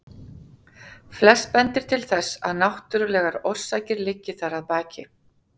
Flest bendir til þess að náttúrulegar orsakir liggi þar að baki.